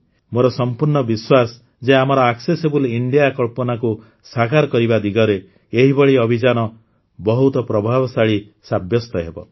ମୋର ସଂପୂର୍ଣ୍ଣ ବିଶ୍ୱାସ ଯେ ଆମର ଆକ୍ସେସିବୁଲ୍ ଇଣ୍ଡିଆ କଳ୍ପନାକୁ ସାକାର କରିବା ଦିଗରେ ଏହିଭଳି ଅଭିଯାନ ବହୁତ ପ୍ରଭାବଶାଳୀ ସାବ୍ୟସ୍ତ ହେବ